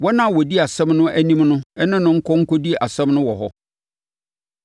wɔn a wɔdi asɛm no anim no ne no nkɔ nkɔdi asɛm no wɔ hɔ.